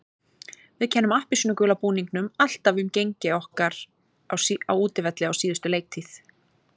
Við kennum appelsínugula búningnum alltaf um gengi okkar á útivelli á síðustu leiktíð.